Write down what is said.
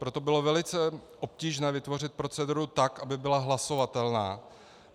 Proto bylo velice obtížné vytvořit proceduru tak, aby byla hlasovatelná.